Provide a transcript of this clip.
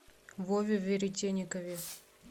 вове веретенникове